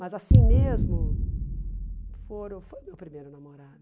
Mas assim mesmo, fora foi o meu primeiro namorado.